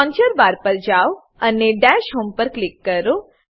launcher bar launcher bar પર જાવ અને દશ હોમ ડેશ હોમ પર ક્લિક કરો